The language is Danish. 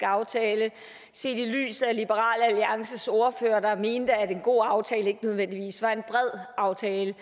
aftale set i lyset af liberal alliances ordfører der mente at en en god aftale ikke nødvendigvis var en bred aftale